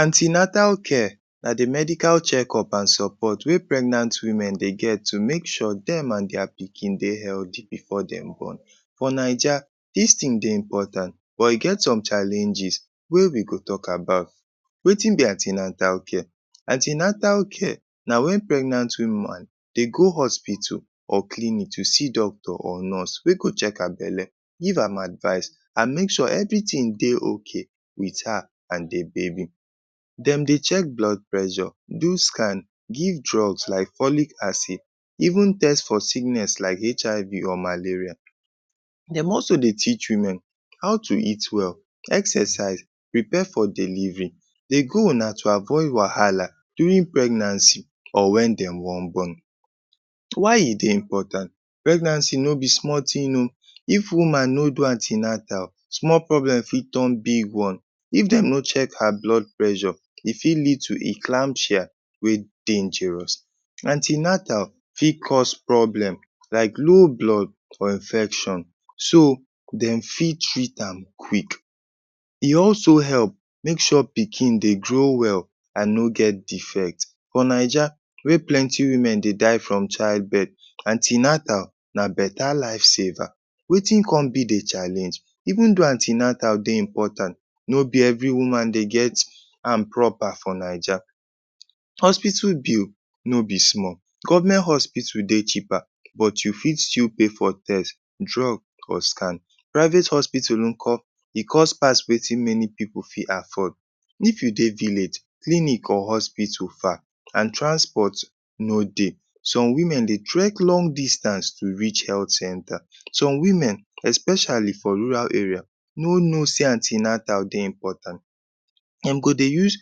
An ten atal care na de medical checkup an support wey pregnant women dey get to make sure dem an dia pikin dey healthy before dem born. For Naija, dis tin dey important but e get some challenges wey we go talk about. Wetin be an ten atal care? An ten atal care na wen pregnant woman dey go hospital or clinic to see doctor or nurse wey go check her belle, give am advice an make sure everything dey okay with her an the baby. Dem dey check blood pressure, do scan, give drugs like folic acid, even test for sickness like HIV or malaria. Dem also dey teach women how to eat well, exercise, prepare for delivery. De goal na to avoid wahala during pregnancy or wen dem wan born. Why e dey important? Pregnancy no be small tin oh. If woman no do an ten atal, small problem fit turn big one. If dem no check her blood pressure, e fit lead to eclampsia wey dangerous. An ten atal fit cause problem like low blood or infection so dem fit treat am quick. E also help make sure pikin dey grow well an no get defect. For Naija, wey plenty women dey die from childbirth, an ten atal na beta life-saver. Wetin con be de challenge? Even though an ten atal dey important, no be every woman dey get am proper for Naija. Hospital bill no be small. Government hospital dey cheaper but you fit still pay for tes, drug, or scan. Private hospital nko? E cost pass wetin many pipu fit afford. If you dey village, clinic or hospital far an transport no dey. Some women dey trek long distance to reach health centre. Some women, especially for rural area, no know sey an ten atal dey important. Dem go dey use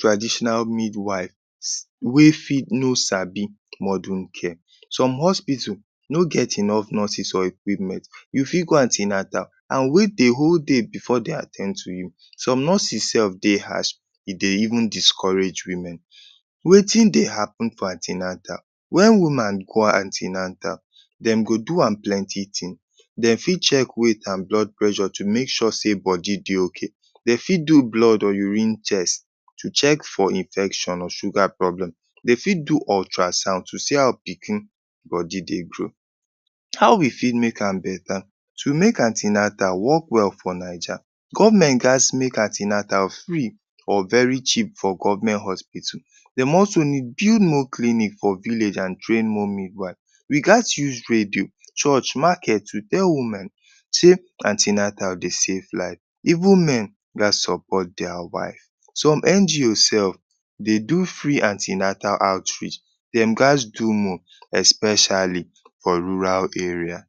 traditional midwives wey fit no sabi modern care. Some hospital no get enough nurses or equipment. You fit go an ten atal an wait de whole day before de at ten d to you. Some nurses sef dey harsh e dey even discourage women. Wetin dey happen for an ten atal? Wen woman go an ten atal, dem go do am plenty tin. De fit check weight an blood pressure to make sure sey body dey okay. De fit do blood or urine test to check for infection or sugar problem. De fit do ultrasound to see how pikin body dey grow. How we fit make am beta? To make an ten atal work well for Naija, government gaz make an ten atal free or very cheap for government hospital. Dem also need build more clinic for village an train more midwife. We gaz use radio, church, market to tell women sey an ten atal dey save life. Even men gaz support dia wife. Some NGO sef dey do free an ten atal outreach. Dem gaz do more, especially for rural area.